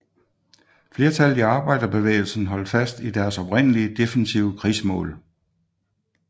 Flertallet i arbejderbevægelsen holdt fast i deres oprindelige defensive krigsmål